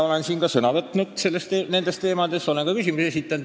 Olen ka siin nendel teemadel sõna võtnud ja küsimusi esitanud.